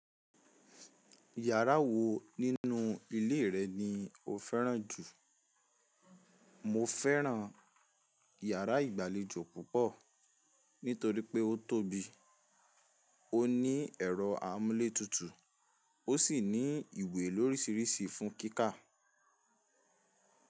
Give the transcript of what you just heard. Yàrá wo nínú ilé rẹ̀ ni o fẹ́ràn jù? Mo fẹ́ràn iyàrá ìgbàlejò púpọ̀ nítorí pé ó tóbi, ó ní ẹ̀rọ amúlé tutù, ó sì ní ìwé lórísirísi fún kíkà.